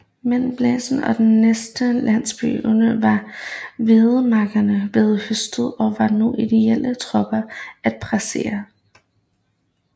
Mellem Blenheim og den næste landsby Oberglau var hvedemarkerne blevet høstet og var nu ideelle for tropper at passere